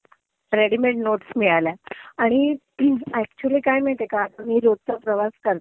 तुझ्याकडून मला readymade notes मिळाल्या. आणि एकच्युली काये माहितीये का, मी रोजचं प्रवास करते,